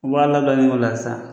U b'a labilali min k'o la sisan.